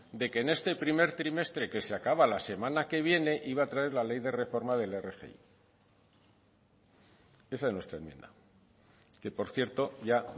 de que en este primer trimestre que se acaba la semana que viene iba a traer la ley de reforma del rgi esa es nuestra enmienda que por cierto ya